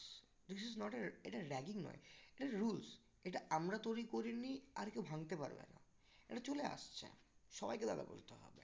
this is not a এটা ragging নয় এটা rules এটা আমরা তৈরি করিনি আর কেউ ভাঙতে পারবে না এটা চলে আসছে সবাইকে দাদা বলতে হবে